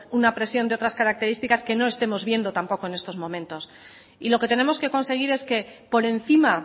una presión de otras características que no estemos viendo tampoco en estos momentos y lo que tenemos que conseguir es que por encima